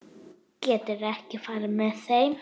Geturðu ekki farið með þeim?